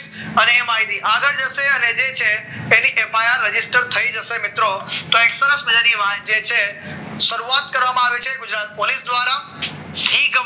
અને માહિતી આગળ જશે અને જે છે એની એફઆઇઆર register થઈ જશે મિત્રો તો એક તરફ મજાની વાત એ છે કે શરૂઆત કરવામાં આવી છે ગુજરાત પોલીસ દ્વારા